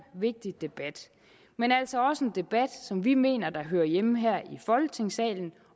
vigtig debat men altså også en debat som vi mener hører hjemme her i folketingssalen